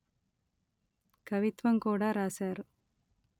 కవిత్వం కూడ రాశారు